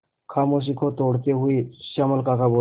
खामोशी को तोड़ते हुए श्यामल काका बोले